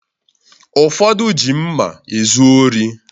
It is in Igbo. Ụfọdụ ji mma ezu ori